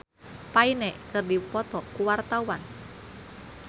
Tara Basro jeung Liam Payne keur dipoto ku wartawan